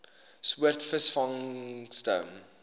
soort visvangste